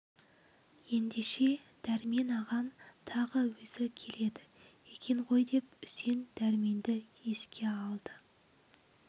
ендеше дәрмен ағам тағы өзі келеді екен ғой деп үсен дәрменді еске алды